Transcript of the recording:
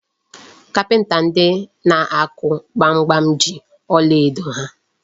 Kapịnta ndị na-akụ gbamgbam ji ọlaedo ha.